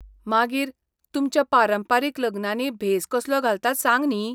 मागीर, तुमच्या पारंपारीक लग्नांनी भेस कसलो घालतात सांग न्ही.